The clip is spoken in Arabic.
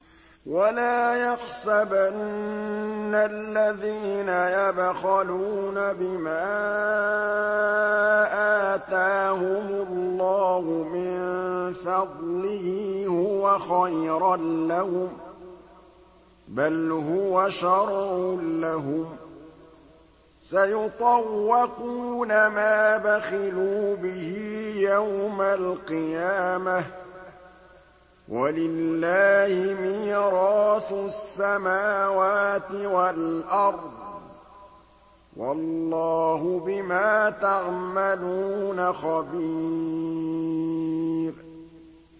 وَلَا يَحْسَبَنَّ الَّذِينَ يَبْخَلُونَ بِمَا آتَاهُمُ اللَّهُ مِن فَضْلِهِ هُوَ خَيْرًا لَّهُم ۖ بَلْ هُوَ شَرٌّ لَّهُمْ ۖ سَيُطَوَّقُونَ مَا بَخِلُوا بِهِ يَوْمَ الْقِيَامَةِ ۗ وَلِلَّهِ مِيرَاثُ السَّمَاوَاتِ وَالْأَرْضِ ۗ وَاللَّهُ بِمَا تَعْمَلُونَ خَبِيرٌ